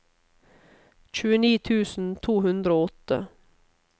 tjueni tusen to hundre og åtte